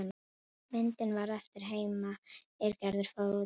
Myndin varð eftir heima er Gerður fór út aftur.